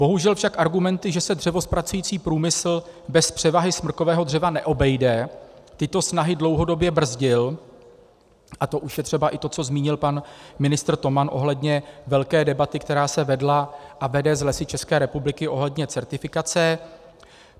Bohužel však argumenty, že se dřevozpracující průmysl bez převahy smrkového dřeva neobejde, tyto snahy dlouhodobě brzdil, a to už je třeba i to, co zmínil pan ministr Toman ohledně velké debaty, která se vedla a vede s Lesy České republiky ohledně certifikace.